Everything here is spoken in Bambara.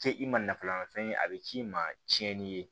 Kɛ i ma nafa la fɛn ye a bɛ k'i ma tiɲɛni ye